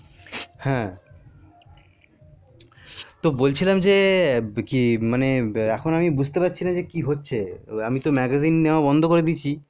হ্যাঁ তো বলছিলাম যে কি মানে এখন আমি বুজতে পারছি না যে কি হচ্ছে আমি তো magazine নেওয়া বন্ধ করে দিয়েছি